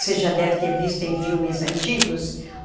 Você já deve ter visto em filmes antigos.